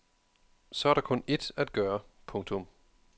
Så er der kun ét at gøre. punktum